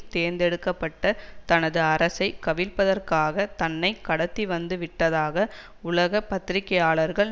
தேர்ந்தெடுக்க பட்ட தனது அரசை கவிழ்ப்பதற்காக தன்னை கடத்திவந்துவிட்டதாக உலக பத்திரிகையாளர்கள்